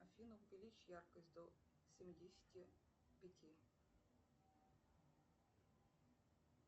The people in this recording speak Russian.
афина увеличь яркость до семидесяти пяти